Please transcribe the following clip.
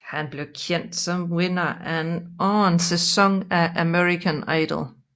Han blev kendt som vinder af anden sæson af American Idol